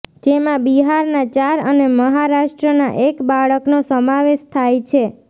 જેમાં બિહારના ચાર અને મહારાષ્ટ્રના એક બાળકનો સમાવેશ થાય છે